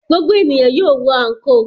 Gbogbo ènìyàn yóò wọ àńkò.